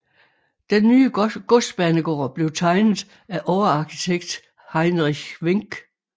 Den nye godsbanegård blev tegnet af overarkitekt Heinrich Wenck